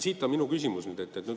Siit ongi minu küsimus.